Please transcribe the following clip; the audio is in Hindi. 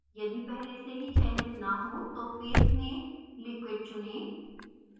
यदि पहले से चयनित न हो तो fase में liquid चुनें